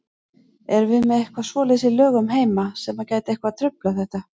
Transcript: Erum við með eitthvað svoleiðis í lögum heima sem að gæti eitthvað truflað þetta?